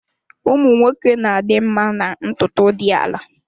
Ụmụ nwoke na-adị mma na ntutu dị ala.